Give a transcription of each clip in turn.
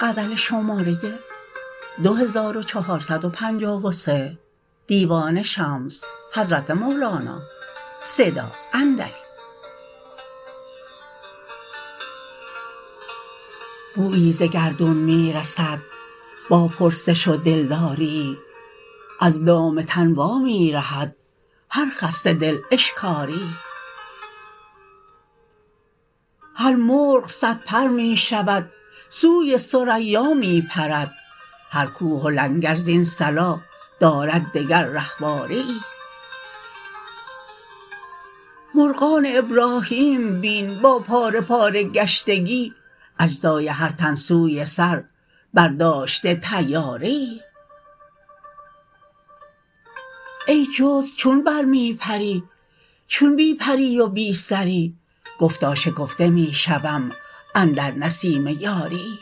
بویی ز گردون می رسد با پرسش و دلداریی از دام تن وا می رهد هر خسته دل اشکاریی هر مرغ صدپر می شود سوی ثریا می پرد هر کوه و لنگر زین صلا دارد دگر رهواریی مرغان ابراهیم بین با پاره پاره گشتگی اجزای هر تن سوی سر برداشته طیاریی ای جزو چون بر می پری چون بی پری و بی سری گفتا شکفته می شوم اندر نسیم یاریی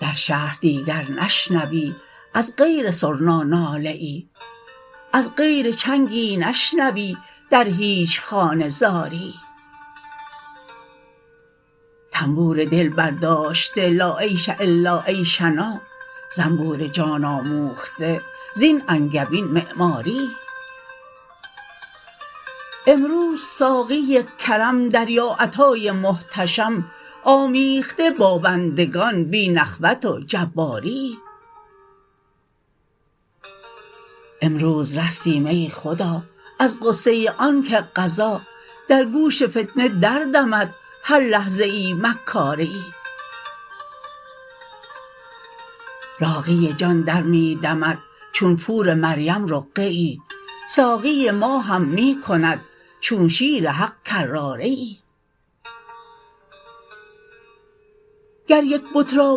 در شهر دیگر نشنوی از غیر سرنا ناله ای از غیر چنگی نشنوی در هیچ خانه زاریی طنبور دل برداشته لا عیش الا عیشنا زنبور جان آموخته زین انگبین معماریی امروز ساقی کرم دریاعطای محتشم آمیخته با بندگان بی نخوت و جباریی امروز رستیم ای خدا از غصه آنک قضا در گوش فتنه دردمد هر لحظه ای مکاریی راقی جان در می دمد چون پور مریم رقیه ای ساقی ما هم می کند چون شیر حق کراریی گر درک بت را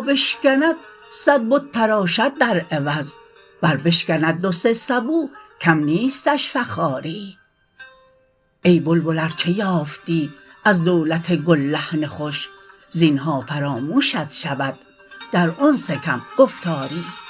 بشکند صد بت تراشد در عوض ور بشکند دو سه سبو کم نیستش فخاریی ای بلبل ار چه یافتی از دولت گل لحن خوش زینهار فراموشت شود در انس کم گفتاریی